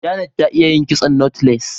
Janet ta iya yin kitson " knotless"